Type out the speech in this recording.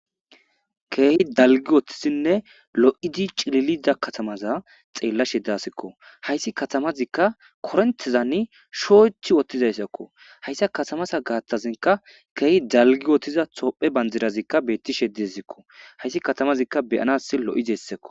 Keehi dalgi wottisinne lo'idi cililida katamaza xeella shedasikko hayssi katamazikka korentezani shooch wottizayssakko hayssa katamasa gaattazinka keehi dalgi wotthiza tophe banjirazikka beetti she dezikko hayssi katamazikka beyanas lo'idessakko.